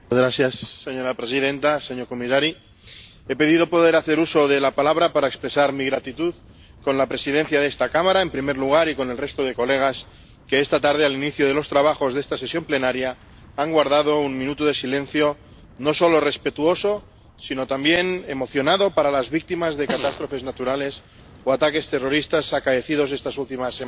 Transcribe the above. Señora presidenta, señor comisario, he pedido poder hacer uso de la palabra para expresar mi gratitud con la presidencia de esta Cámara, en primer lugar, y con el resto de colegas que esta tarde, al inicio de los trabajos de esta sesión plenaria, han guardado un minuto de silencio, no solo respetuoso, sino también emocionado para las víctimas de las catástrofes naturales o los ataques terroristas acaecidos estas últimas semanas.